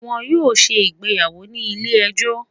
wọn yoo ṣe ìgbéyàwò ni ile-ẹjọ?